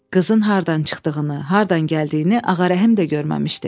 Qızın hardan çıxdığını, hardan gəldiyini Ağarəhm də görməmişdi.